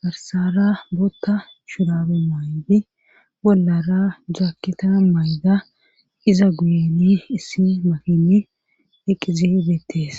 garsara bootta shurabe maydi bollara jaakkita mayda iza guyini issi makini eqqizi beettees